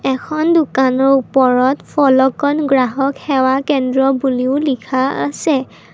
এখন দোকানৰ ওপৰত ফলকত গ্ৰাহক সেৱা কেন্দ্ৰ বুলিও লিখা আছে।